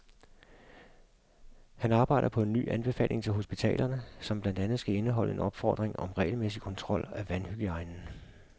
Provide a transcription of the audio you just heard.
Han arbejder på en ny anbefaling til hospitalerne, som blandt andet skal indeholde en opfordring om regelmæssig kontrol af vandhygiejnen.